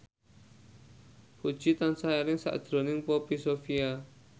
Puji tansah eling sakjroning Poppy Sovia